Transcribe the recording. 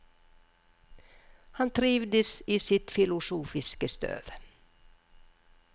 Han trivdes i sitt filosofiske støv.